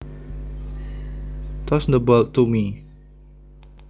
Toss the ball to me